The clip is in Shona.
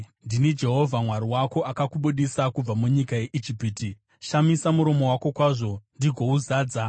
Ndini Jehovha Mwari wako, akakubudisa kubva munyika yeIjipiti. Shamisa muromo wako kwazvo, ndigouzadza.